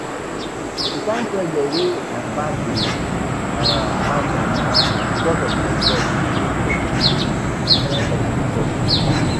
The kyn pressure wey my papa dey um mount on me because of my results fit make person go um do sorting